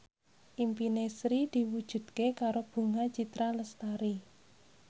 impine Sri diwujudke karo Bunga Citra Lestari